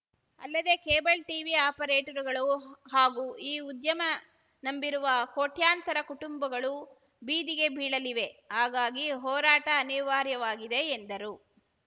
ಅಲ್ಲದೆ cable TV ಆಪರೇಟಗಳು ಉ ಹಾಗೂ ಈ ಉದ್ಯಮ ನಂಬಿರುವ ಕೋಟ್ಯಂತರ ಕುಟುಂಬಗಳು ಬೀದಿಗೆ ಬೀಳಲಿವೆ ಹಾಗಾಗಿ ಹೋರಾಟ ಅನಿವಾರ್ಯವಾಗಿದೆ ಎಂದರು